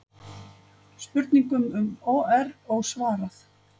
Spurningum um OR ósvarað